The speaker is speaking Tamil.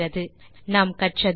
இந்த டியூட்டோரியல் இல் நாம் கற்றது 1